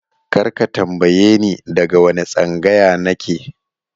Kar ka tambaye ni daga wane tsangaya na ke!